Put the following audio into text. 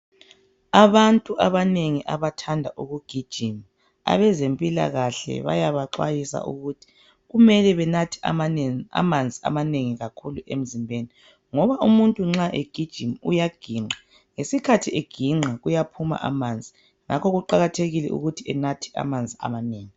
Abantu abanengi abathanda ukugijima abezempilakahle bayabaxwayisa ukuthi kumele banathe amanzi amanengi kakhulu emzimbeni. Ngoba umuntu nxa egijima uyaginqa ngesikhathi eginqa uyaphuma amanzi amanengi ngakho kuqakathekile ukuthi anathe amanzi amanengi.